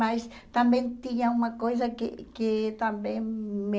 Mas também tinha uma coisa que que também me...